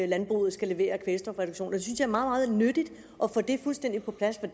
landbruget skal levere af kvælstofreduktion jeg synes er meget nyttigt at få det fuldstændig på plads for